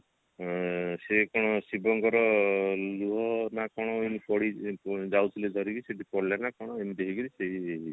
ଏ ସେ କଣ ଶିବଙ୍କର ଲୁହ ନା କଣ ଏମିତି ପଡି ଯାଉଥିଲେ ଧରିକି ସେଠି ପଡିଲା ନା କଣ ଏମିତି ହେଇକିରି ସେଇ